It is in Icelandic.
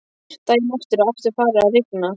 Daginn eftir er aftur farið að rigna.